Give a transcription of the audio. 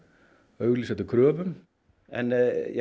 auglýsa eftir kröfum en